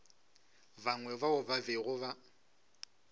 bangwe bao ba bego ba